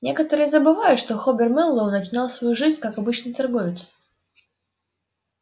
некоторые забывают что хобер мэллоу начинал свою жизнь как обычный торговец